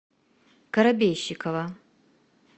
коробейщикова